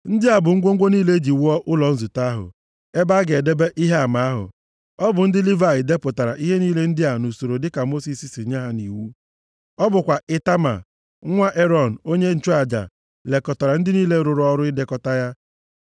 Ndị a bụ ngwongwo niile e ji wuo ụlọ nzute ahụ; ebe a ga-edebe Ihe Ama ahụ. Ọ bụ ndị Livayị depụtara ihe niile ndị a nʼusoro dịka Mosis si nye ha nʼiwu. Ọ bụkwa Itama, nwa Erọn onye nchụaja, lekọtara ndị niile rụrụ ọrụ idekọta ya.